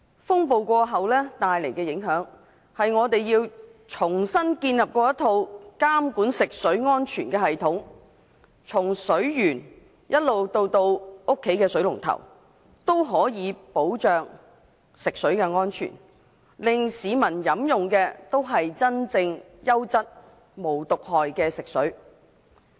風暴過後，帶來的影響是我們要重新建立一套監管食水安全的系統，從水源到家裏的水龍頭，都可以保障食水安全，令市民飲用的，都是真正優質、無毒害的食水。